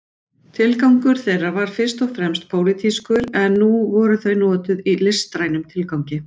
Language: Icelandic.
Tilgangur þeirra var fyrst og fremst pólitískur en nú voru þau notuð í listrænum tilgangi.